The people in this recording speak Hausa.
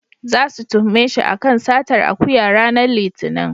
Zasu tuhume shi a kan satar akuya ranar Litinin.